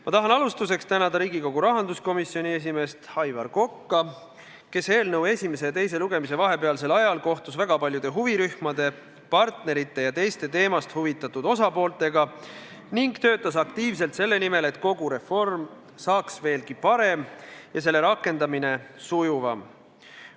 Ma tahan alustuseks tänada Riigikogu rahanduskomisjoni esimeest Aivar Kokka, kes eelnõu esimese ja teise lugemise vahepealsel ajal kohtus väga paljude huvirühmade, partnerite ja teiste teemast huvitatud osapooltega ning töötas aktiivselt selle nimel, et kogu reform saaks veelgi parem ja selle rakendamine sujuvam.